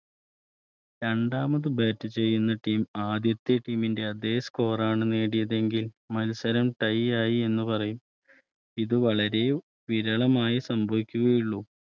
രണ്ടാമത് Bat ചെയ്യുന്ന Team ആദ്യത്തെ Team ന്റെ അതേ Score ആണ് നേടിയത് എങ്കിൽമത്സരം Tie ആയി എന്ന് പറയും ഇത് വളരെ വിരളമായി സംഭവിക്കുകയുള്ളൂ